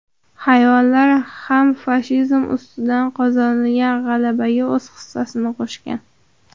Hayvonlar ham fashizm ustidan qozonilgan g‘alabaga o‘z hissasini qo‘shgan.